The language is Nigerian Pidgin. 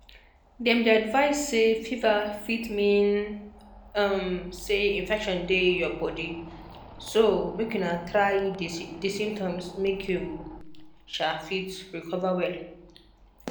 dem dey advise say fever fit mean um say infection dey your body so um try manage di symptoms make you um fit recover well